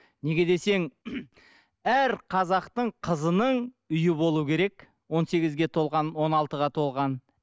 неге десең әр қазақтың қызының үйі болу керек он сегізге толған он алтыға толған